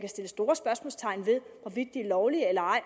store spørgsmålstegn ved hvorvidt er lovlige eller ej